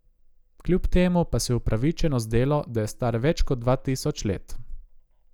Kljub temu pa se je upravičeno zdelo, da je star več kot dva tisoč let.